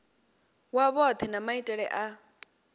wa vhohe na maitele a